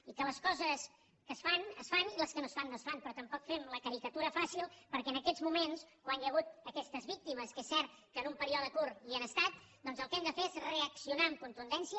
i les coses que es fan es fan i les que no es fan no es fan però tampoc fem la caricatura fàcil perquè en aquests moments quan hi ha hagut aquestes víctimes que és cert que en un període curt hi han estat doncs el que hem de fer és reaccionar amb contundència